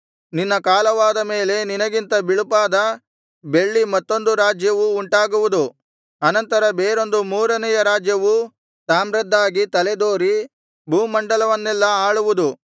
ನಿನ್ನ ಕಾಲವಾದ ಮೇಲೆ ನಿನಗಿಂತ ಬಿಳುಪಾದ ಬೆಳ್ಳಿ ಮತ್ತೊಂದು ರಾಜ್ಯವು ಉಂಟಾಗುವುದು ಅನಂತರ ಬೇರೊಂದು ಮೂರನೆಯ ರಾಜ್ಯವು ತಾಮ್ರದ್ದಾಗಿ ತಲೆದೋರಿ ಭೂಮಂಡಲವನ್ನೆಲ್ಲಾ ಆಳುವುದು